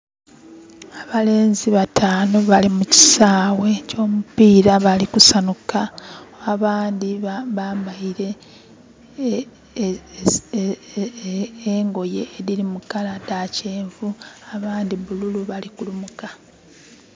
Abalenzi bataanu bali mukisaawe ekyo mupiira bali kusanuka. Abandi bambaire engoye ediri mu kala dha kyenvu abandi bululu bali kulumuka